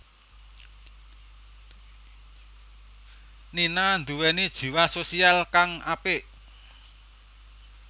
Nina nduwèni jiwa sosial kang apik